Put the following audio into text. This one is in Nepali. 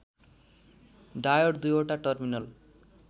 डायोड दुईओटा टर्मिनल